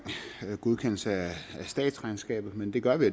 godkendelse af statsregnskabet men det gør vi